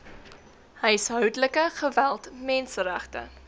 huishoudelike geweld menseregte